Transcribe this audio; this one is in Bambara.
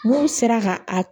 N'u sera ka a